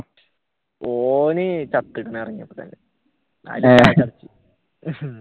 ഓൻ